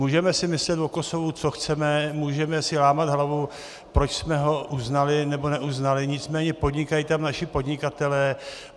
Můžeme si myslet o Kosovu, co chceme, můžeme si lámat hlavu, proč jsme ho uznali nebo neuznali, nicméně podnikají tam naši podnikatelé.